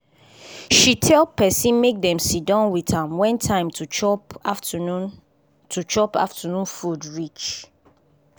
she tell person make dem sit down with am wen time to chop afternoon to chop afternoon food reach